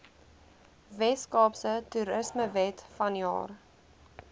weskaapse toerismewet vanjaar